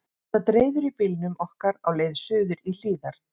Ég sat reiður í bílnum okkar á leið suður í Hlíðar.